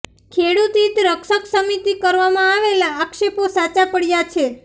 ખેડૂત હિત રક્ષક સમિતિ કરવામાં આવેલા આક્ષેપો સાચા પડ્યા છે